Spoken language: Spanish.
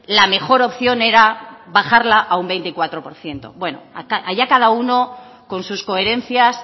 la mejor opción era bajarla a un veinticuatro por ciento bueno allá cada uno con sus coherencias